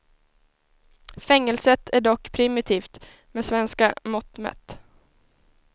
Fängelset är dock primitivt med svenska mått mätt.